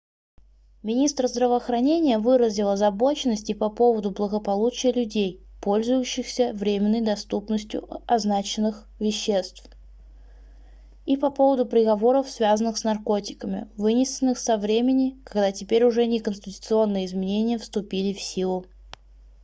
министр здравоохранения выразил озабоченность и по поводу благополучия людей пользующихся временной доступностью означенных веществ и по поводу приговоров связанных с наркотиками вынесенных со времени когда теперь уже не конституционные изменения вступили в силу